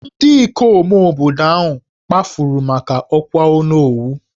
Ndị ikom obodo ahụ kpafuru maka ọkwà Onowu